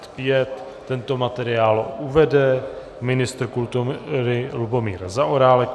Tento materiál uvede ministr kultury Lubomír Zaorálek.